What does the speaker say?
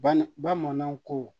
Ban bamanan ko